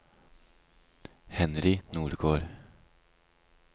Henry Nordgård